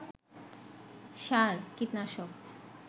সার, কীটনাশক